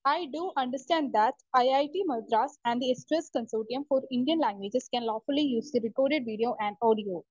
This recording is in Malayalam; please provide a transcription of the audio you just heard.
Speaker 1 I do understand that IIT Madras and consortium for Indian languages can use recorded video and audio.